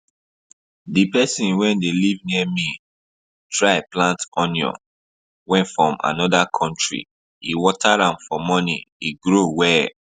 the person wey dey live near me try plant onion wey from another country e water am for morning e grow well